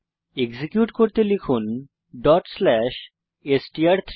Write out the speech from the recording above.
execute করতে লিখুন dot slash str3